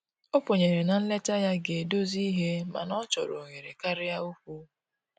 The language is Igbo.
O kwenyere na nleta ya ga edozi ihe mana ọchọrọ ohere karịa okwụ